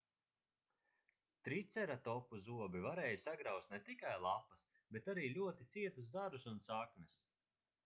triceratopu zobi varēja sagrauzt ne tikai lapas bet arī ļoti cietus zarus un saknes